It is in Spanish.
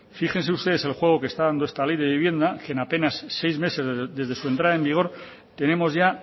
fíjense ustedes el juego que está dando esta ley de vivienda que en apenas seis meses desde su entrada en vigor tenemos ya